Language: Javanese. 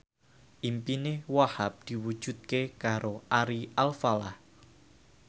impine Wahhab diwujudke karo Ari Alfalah